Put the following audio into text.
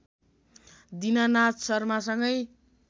Dinanath शर्मासँगै